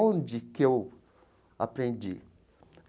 Onde que eu aprendi?